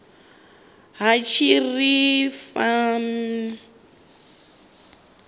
ha tshitirathedzhi u wana ip